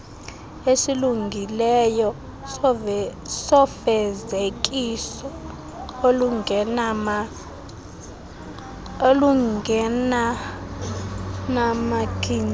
esilungileyo sofezekiso olungenanamagingxi